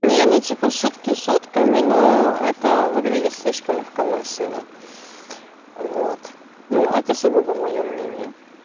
не ну типа шутки шутками но это выглядит слишком легкомысленно вот ну это сугубо моё мнение